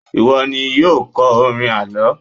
iwọ ni yíò kọ orin àlọ